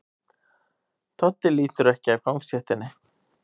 Doddi lítur ekki af gangstéttinni.